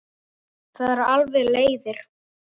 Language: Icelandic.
Það eru alveg leiðir.